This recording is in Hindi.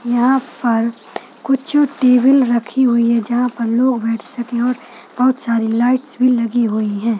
यहाँ पर कुछ टेबल रखी हुई है जहां पर लोग बैठ सके और बोहत सारी लाइट भी लगी हुई है।